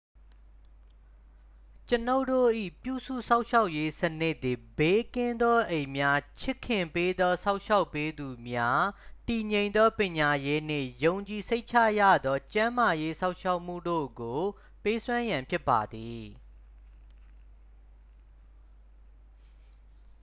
ကျွန်ုပ်တို့၏ပြုစုစောင့်ရှောက်ရေးစနစ်သည် ဘေးကင်းသောအိမ်များ ချစ်ခင်ပေးသောစောင့်ရှောက်ပေးသူများ တည်ငြိမ်သောပညာရေးနှင့် ယုံကြည်စိတ်ချရသောကျန်းမာရေးစောင့်ရှောက်မှုတို့ကိုပေးစွမ်းရန်ဖြစ်ပါသည်